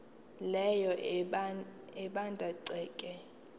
leyo ebanda ceke